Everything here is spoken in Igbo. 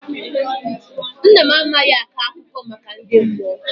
Nna m amaghị akọ akụkọ maka ndị mmụọ.